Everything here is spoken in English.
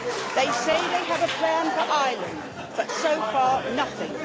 They say they have a plan for Ireland, but so far, nothing.